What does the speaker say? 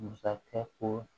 Masakɛ ko